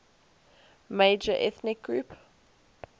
major ethnic group